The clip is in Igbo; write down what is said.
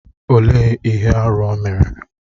Olee ihe arụ o mere?